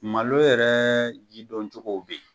Malo yɛrɛ ji dɔncogow be yen.